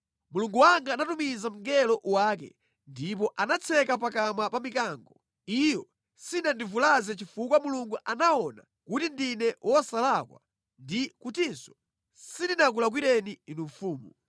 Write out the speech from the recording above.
Mulungu wanga anatumiza mngelo wake, ndipo anatseka pakamwa pa mikango. Iyo sinandivulaze chifukwa Mulungu anaona kuti ndine wosalakwa ndi kutinso sindinakulakwireni inu mfumu.”